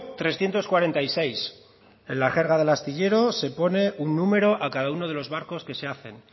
trescientos cuarenta y seis en la jerga del astillero se pone un número a cada uno de los barcos que se hacen